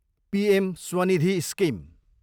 PM Svanidhi scheme